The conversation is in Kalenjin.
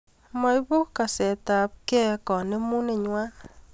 maibu kasekabgei kanemuneng'wany